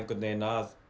að